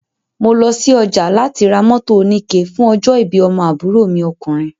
Mo lọ sí ọjà láti mọ́tò oníke fún ọjọ́ ìbí ọmọ àbúrò mi okùnrin